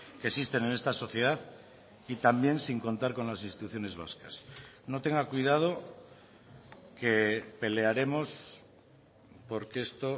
que existen en esta sociedad y también sin contar con las instituciones vascas no tenga cuidado que pelearemos porque esto